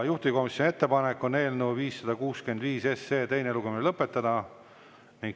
Juhtivkomisjoni ettepanek on eelnõu 565 teine lugemine lõpetada.